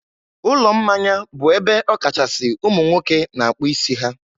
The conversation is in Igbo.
ụlọ mmanya bụ ebe ọkachasị ụmụ nwoke na-akpụ isi ha.